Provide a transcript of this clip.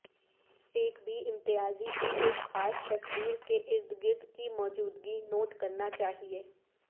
ایک بھی امتیازی کی ایک خاص تصویر کے ارد گرد کی موجودگی نوٹ کرنا چاہئے